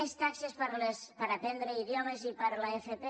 més taxes per aprendre idiomes i per a l’fp